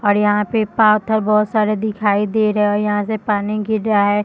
और यहाँ पे पाथर बहोत सारे दिखाई दे रहे है यहां से पानी गिर रहा है।